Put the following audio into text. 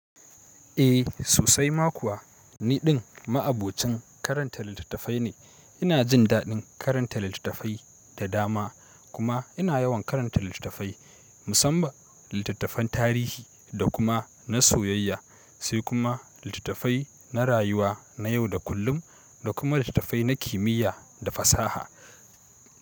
Eh sosai ma kuwa, niɗin ma'abocin karanta littattafai ne. Ina jin daɗin karanta littattafai da dama kuma ina yawan karanta littattafai musamman littattafan tarihi da kuma na soyayya sai kuma littattafai na rayuwa na yau da kullum da kuma littattafai na kimiyya da fasaha.